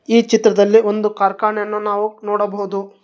ಈ ಚಿತ್ರದಲ್ಲಿ ಒಂದು ಕಾರ್ಖಾನೆಯನ್ನು ನಾವು ನೋಡಬಹುದು.